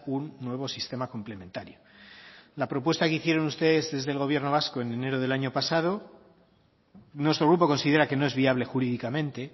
un nuevo sistema complementario la propuesta que hicieron ustedes desde el gobierno vasco en enero del año pasado nuestro grupo considera que no es viable jurídicamente